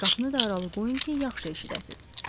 Qapını da aralı qoyun ki, yaxşı eşidəsiz.